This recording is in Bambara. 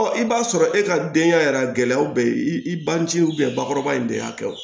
i b'a sɔrɔ e ka denkɛya yɛrɛ gɛlɛyaw bɛ i ban tɛ bakɔrɔba in de y'a kɛ o